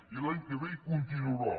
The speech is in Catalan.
i l’any que ve hi continuarà